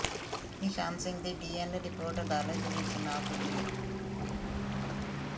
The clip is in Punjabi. ਨਿਸ਼ਾਨ ਸਿੰਘ ਦੀ ਡੀਐਨਏ ਰਿਪੋਰਟ ਅਦਾਲਤ ਵਿੱਚ ਨਾ ਪੁੱਜੀ